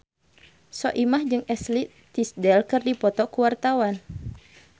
Soimah jeung Ashley Tisdale keur dipoto ku wartawan